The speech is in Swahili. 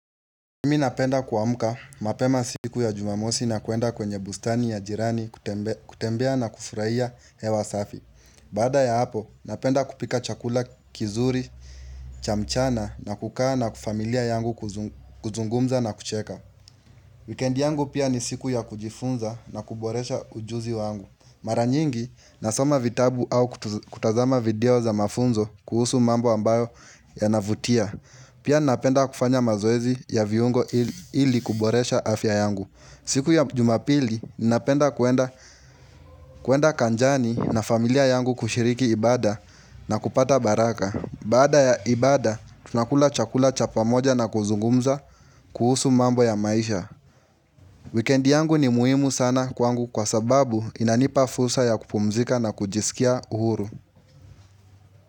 Nimi napenda kwa muka, mapema siku ya jumamosi na kuenda kwenye bustani ya jirani kutembea na kufurahia hewa safi. Baada ya hapo, napenda kupika chakula kizuri, chamchana na kukaa na kifamilia yangu kuzungumza na kucheka. Wikendi yangu pia ni siku ya kujifunza na kuboresha ujuzi wangu. Maranyingi, nasoma vitabu au kutazama video za mafunzo kuhusu mambo ambayo ya navutia. Pia napenda kufanya mazoezi ya viungo ili kuboresha afya yangu. Siku ya jumapili, napenda kuenda kanjani na familia yangu kushiriki ibada na kupata baraka. Baada ya ibada, tunakula chakula cha pamoja na kuzungumza kuhusu mambo ya maisha. Weekend yangu ni muhimu sana kwangu kwa sababu inanipa fursa ya kupumzika na kujisikia uhuru.